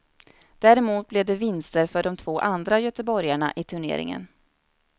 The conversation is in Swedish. Däremot blev det vinster för de två andra göteborgarna i turneringen.